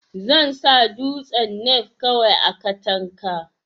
zansa duwatsu nevkawai a katanka